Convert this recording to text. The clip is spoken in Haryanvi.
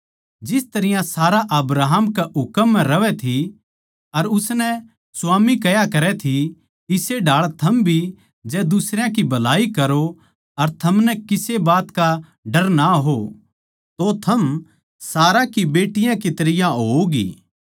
जिस तरियां सारा अब्राहम कै हुकम म्ह रहवै थी अर उसनै स्वामी कह्या करै थी इस्से ढाळ थम भी जै दुसरयां की भलाई करो अर थमनै किसे बात का डर ना हो तो थम सारा की बेटियाँ की तरियां होओगी